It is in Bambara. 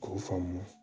K'o faamu